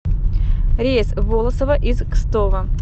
рейс в волосово из кстово